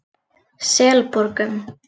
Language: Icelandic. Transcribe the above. Selborgum